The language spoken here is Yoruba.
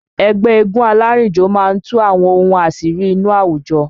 Ẹgbẹ́ eégún alárìnjò máa ń tú àwọn ohun àṣírí inú àwùjọ